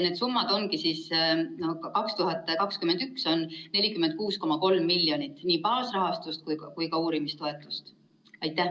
Need summad on järgmised: 2021 on 46,3 miljonit nii baasrahastust kui ka uurimistoetusi.